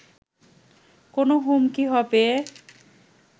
কোনো হুমকি হবে